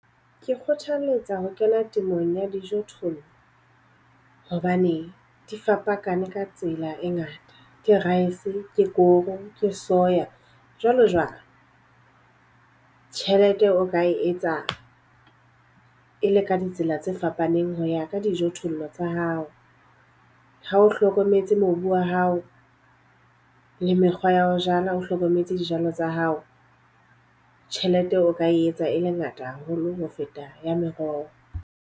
Ke kgothaletsa ho kena temong ya dijothollo hobane di fapakaneng ka tsela e ngata. Ke rice, ke koro, ke soya jwalo jwalo. Tjhelete o ka e etsa e le ka ditsela tse fapaneng ho ya ka dijothollo tsa hao. Ha o hlokometse mobu wa hao le mekgwa ya ho jala, o hlokometse dijalo tsa hao. Tjhelete o ka e etsa e le ngata haholo ho feta ya meroho.